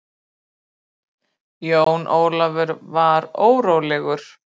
Jón Ólafur var órólegur.